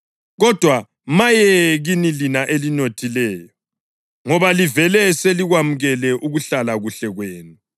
Kodwa maye kini lina elinothileyo, ngoba livele selikwamukele ukuhlala kuhle kwenu.